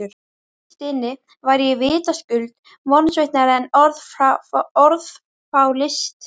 Innst inni var ég vitaskuld vonsviknari en orð fá lýst.